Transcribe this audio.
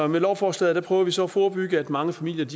med lovforslaget prøver vi så at forebygge at mange familier